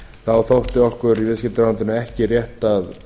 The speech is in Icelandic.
þá þótti okkur í viðskiptaráðuneytinu ekki rétt að vera að